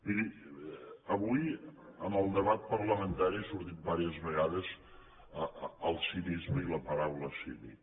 miri avui en el debat parlamentari ha sortit diverses vegades el cinisme i la paraula cínic